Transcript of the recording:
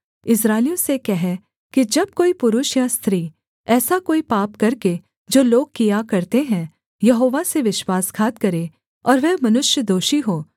इस्राएलियों से कह कि जब कोई पुरुष या स्त्री ऐसा कोई पाप करके जो लोग किया करते हैं यहोवा से विश्वासघात करे और वह मनुष्य दोषी हो